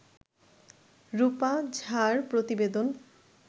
রূপা ঝা-র প্রতিবেদন